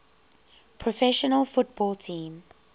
professional football team